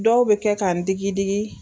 Dɔw bɛ kɛ k'an n digi digi.